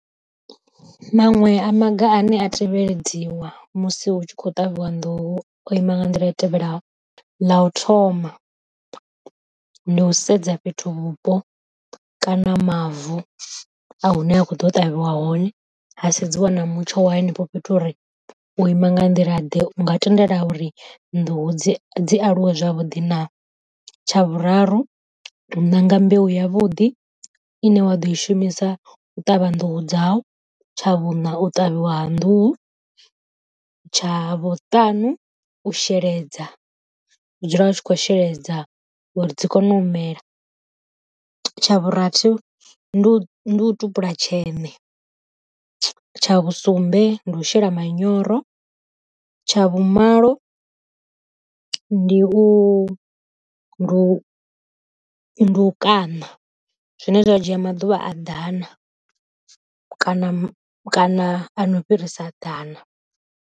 Manwe a maga ane a tevheledziwa musi hu tshi kho ṱavhiwa nḓuhu o ima nga nḓila i tevhelaho, ḽa u thoma ndi u sedza fhethu vhupo kana mavu a hune a khou ḓo ṱavhiwa hone ha sedziwa na mutsho wa henefho fhethu uri u ima nga nḓila ḓe u nga tendela uri nḓuhu dzi dzi aluwe zwavhuḓi na, tsha Vhuraru u ṋanga mbeu ya vhuḓi ine wa ḓo i shumisa u ṱavha nḓuhu dzau, tsha vhuṋa u ṱavhiwa ha nḓuhu, tsha vhuṱanu u sheledza dzula u tshi kho sheledza uri dzi kone u mela, tsha vhurathi ndi u ndi u tupula tshene tsha vhusumbe ndi u shela manyoro, tsha vhu malo ndi u ndu kana zwine zwa dzhia maḓuvha a ḓana kana kana a no fhirisa ḓana.